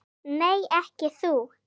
Nei, ekki þú.